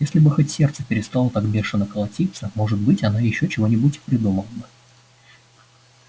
если бы хоть сердце перестало так бешено колотиться может быть она ещё чего-нибудь и придумала бы